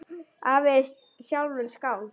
Afi er sjálfur skáld.